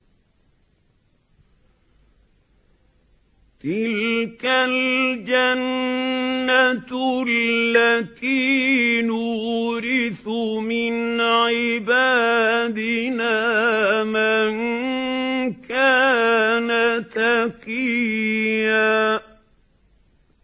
تِلْكَ الْجَنَّةُ الَّتِي نُورِثُ مِنْ عِبَادِنَا مَن كَانَ تَقِيًّا